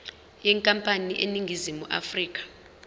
yenkampani eseningizimu afrika